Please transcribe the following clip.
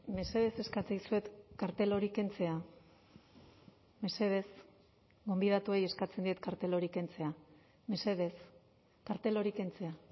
mesedez eskatzen dizuet kartel hori kentzea mesedez gonbidatuei eskatzen diet kartel hori kentzea mesedez kartel hori kentzea